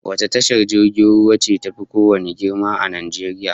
Wace tashar jirgin ruwan ce tafi kowanne girma a Najeriya?